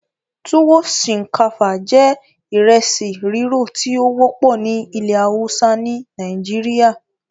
Tuwo ṣinkafa jẹ́ ìresi rirọ ti o wọpọ ni ìlẹ hausa ni Nàìjíríà